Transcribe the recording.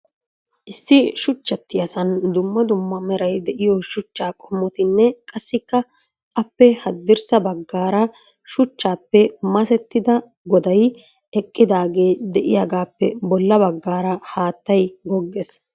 Issi shuchchatiyaasan dumma dumma meray de'iyo shuchcha qommotinne qassikka appe haddirssa baggaara shuchchappe masettida goday eqqidaagee de'iyagappe bolla baggaara haattay goggees.